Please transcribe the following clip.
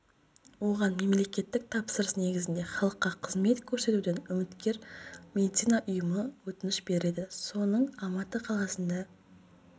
оған мемлекеттік тапсырыс негізінде халыққа қызмет көрсетуден үміткер медицина ұйымы өтініш берді соның алматы қаласында